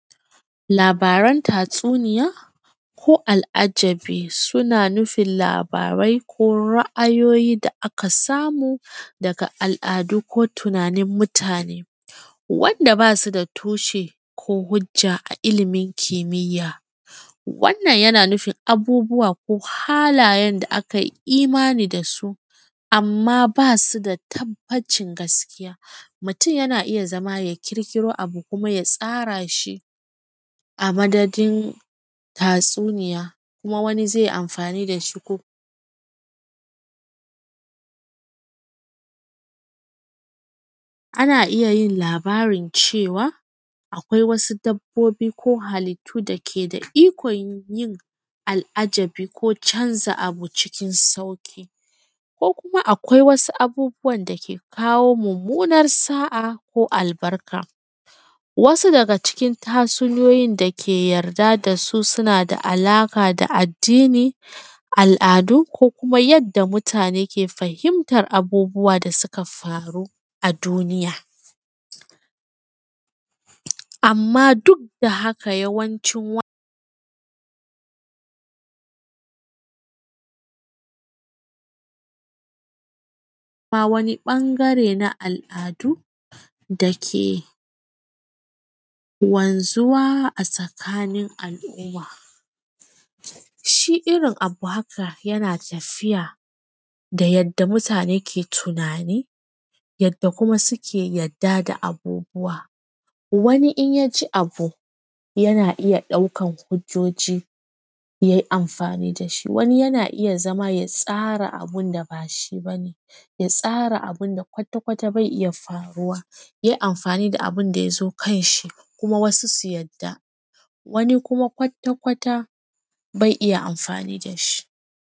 labaran tatsuniya ko al’ajabi suna nufin labarai ko ra’ayoyi da aka samu daga al’adu ko tunanin mutane wanda basu da tushe ko hujja a ilimin kimiyya wannan yana nufin abubuwa ko halayen da akayi imani dasu amman basu da tabbacin gaskiya mutum yana iya zama ya ƙirƙiro abu kuma ya tsara shi a madadin tatsuniya kuma wani zai amfani dashi ko ana iya yin labarin cewa akwai wasu dabbobi ko halittu da ke da ikon yin al’ajabi ko canza abu cikin sauƙi ko kuma akwai wasu abubuwan da ke kawo mummunar sa’a ko albarka wasu daga cikin tatsuniyoyin da ke yarda dasu suna da alaƙa da addini al’adu ko kuma yanda mutane ke fahimta yadda abubuwa suka faru a duniya amman duk da hakan yawancin wannan wani ɓangare na al’adu da ke wanzuwa a tsakanin al’aumma shi irin abu haka yana tafiya da yadda mutane ke tunani yadda kuma suke yi yadda da abubuwa wani in ya ji abu yana iya ɗaukan hujjoji yayi amfani dashi wani yana iya zama ya tsara abunda bashi bane ya tsara abunda kwata-kwata bai iya faruwa ya yi amfani da abunda yazo kan shi kuma wasu su yadda wani kuma kwata-kwata bai iya amfani dashi